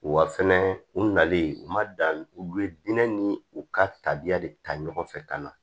Wa fɛnɛ u nalen u ma dan u ye dinɛ ni u ka tabiya de ta ɲɔgɔn fɛ ka na